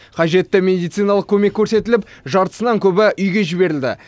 қажетті медициналық көмек көрсетіліп жартысынан көбі үйге жіберілді